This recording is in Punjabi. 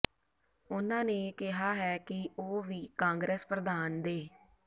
ਉਹਨਾਂ ਨੇ ਕਿਹਾ ਹੈ ਕਿ ਉਹ ਵੀ ਕਾਂਗਰਸ ਪ੍ਰਧਾਨ ਦੇ